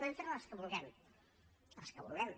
podem fer les que vulguem les que vulguem